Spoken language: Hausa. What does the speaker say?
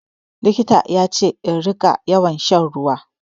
Likita ya ce in ringa yawan shan ruwa.